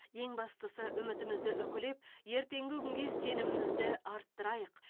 ең бастысы үмітімізді үкілеп ертеңгі күнге сенімімізді арттырайық